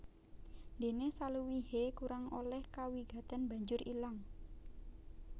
Déné saluwihé kurang olèh kawigatèn banjur ilang